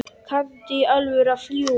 Kanntu í alvöru að fljúga?